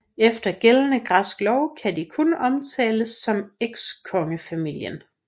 Efter gældende græsk lov kan de kun omtales som ekskongefamilien